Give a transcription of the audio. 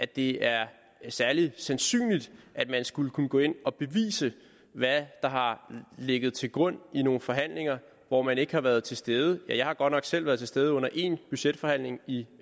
det er særlig sandsynligt at man skulle kunne gå ind og bevise hvad der har ligget til grund i nogle forhandlinger hvor man ikke har været til stede ja jeg har godt nok selv været til stede under én budgetforhandling i